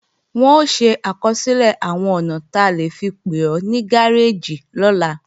Wọn ó ṣe àkọsílẹ̀ àwọn ọ̀nà ta lè fi pè ó ní gáréèjì lọ́la